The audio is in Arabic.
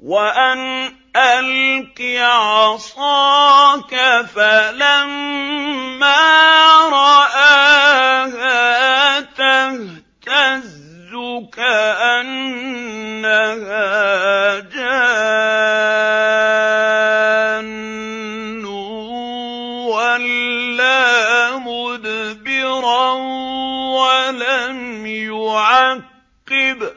وَأَنْ أَلْقِ عَصَاكَ ۖ فَلَمَّا رَآهَا تَهْتَزُّ كَأَنَّهَا جَانٌّ وَلَّىٰ مُدْبِرًا وَلَمْ يُعَقِّبْ ۚ